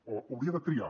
o hauria de triar